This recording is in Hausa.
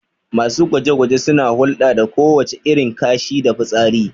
Masu gwaje-gwaje suna hulɗa da kowace irin kashi da fitsari